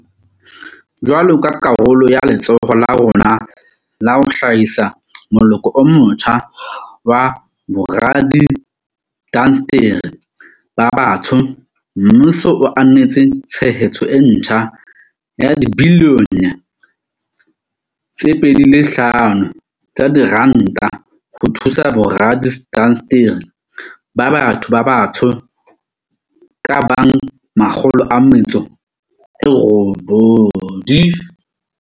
Jwalo ka karolo ya letsholo la rona la ho hlahisa moloko o motjha wa boradiindasteri ba batsho, mmuso o ananetse tshehetso e ntjha ya dibilione tse 2.5 tsa diranta ho thusa boradiindasteri ba batho ba batsho ba ka bang 180.